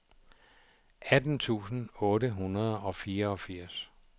atten tusind otte hundrede og fireogfirs